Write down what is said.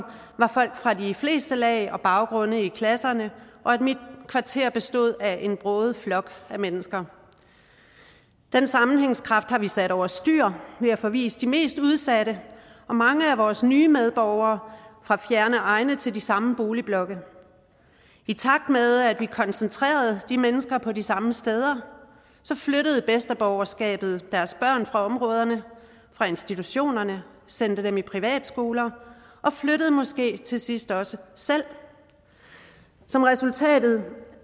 var folk fra de fleste lag og baggrunde i klasserne og at mit kvarter bestod af en broget flok mennesker den sammenhængskraft har vi sat over styr ved at forvise de mest udsatte og mange af vores nye medborgere fra fjerne egne til de samme boligblokke i takt med at vi koncentrerede de mennesker på de samme steder flyttede bedsteborgerskabet deres børn fra områderne fra institutionerne og sendte dem i privatskoler og flyttede måske til sidst også selv som resultat